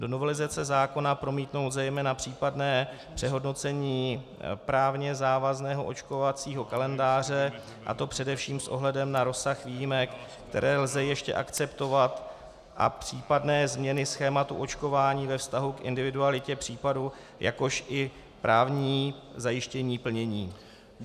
Do novelizace zákona promítnout zejména případné přehodnocení právně závazného očkovacího kalendáře, a to především s ohledem na rozsah výjimek, které lze ještě akceptovat, a případné změny schématu očkování ve vztahu k individualitě případu, jakož i právní zajištění plnění."